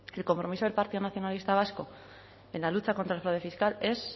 el compromiso del partido nacionalista vasco en la lucha contra el fraude fiscal es